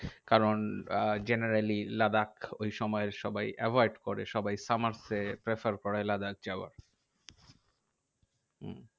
কারণ আহ generally লাদাখ ওইসময়ে সবাই avoid করে। সবাই summer এ prefer করে লাদাখ যাওয়া। উম